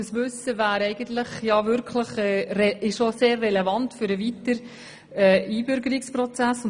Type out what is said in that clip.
Eigentlich wäre dieses Wissen wirklich für den weiteren Einbürgerungsprozess relevant.